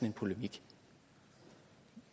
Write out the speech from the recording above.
en polemik